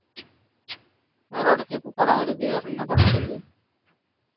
வேற அடுத்து எப்போ படம் வருது வேற என்ன படம் வருது